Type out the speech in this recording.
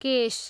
केश